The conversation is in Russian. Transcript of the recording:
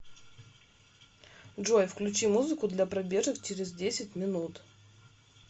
джой включи музыку для пробежек через десять минут